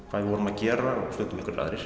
hvað við vorum að gera og stundum aðrir